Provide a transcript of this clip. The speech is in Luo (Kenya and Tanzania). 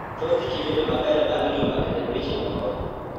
Thoth ji bedo maber bang� juma kata dweche moko.